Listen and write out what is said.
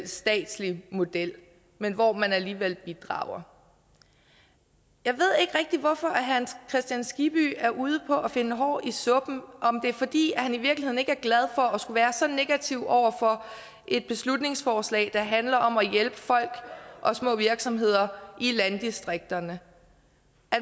statslig model men hvor man alligevel bidrager jeg ved ikke rigtig hvorfor herre hans kristian skibby er ude på at finde hår i suppen om det er fordi han i virkeligheden ikke er glad for at skulle være så negativ over for et beslutningsforslag der handler om at hjælpe folk og små virksomheder i landdistrikterne